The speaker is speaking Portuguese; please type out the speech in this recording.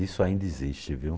Isso ainda existe, viu?